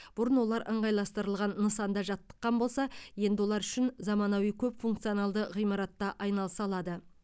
бұрын олар ынғайластырылған нысанда жаттыққан болса енді олар үшін заманауи көпфункционалды ғимаратта айналыса алады